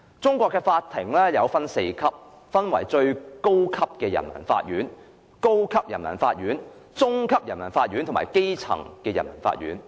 中國的法院分為4級：最高人民法院、高級人民法院、中級人民法院和基層人民法院。